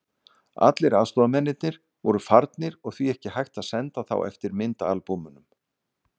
Allir aðstoðarmennirnir voru farnir og því ekki hægt að senda þá eftir myndaalbúmunum.